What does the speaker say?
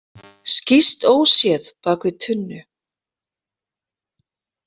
Skýst óséð bak við tunnu.